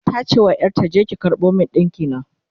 tace wa ƴarta "je ki karɓo min dinki na!"